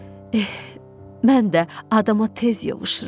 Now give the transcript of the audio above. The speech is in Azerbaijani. Eh, mən də adama tez yovuşuram.